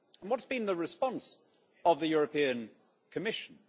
What's been the response of the European Commission?